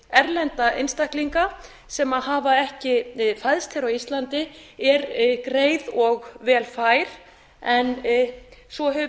erlenda einstaklinga sem hafa ekki fæðst hér á íslandi er greið og vel fær en svo hefur